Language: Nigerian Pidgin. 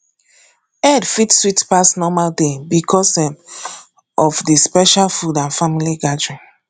eid fit sweet pass normal day because um of the special food and family gathering